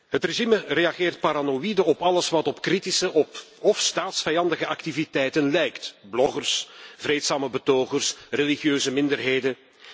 Het regime reageert paranoïde op alles wat op kritische of staatsvijandige activiteiten lijkt bloggers, vreedzame betogers, religieuze minderheden.